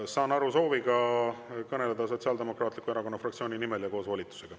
Saan aru, et tal on soov kõneleda Sotsiaaldemokraatliku Erakonna fraktsiooni nimel ja tal on volitus.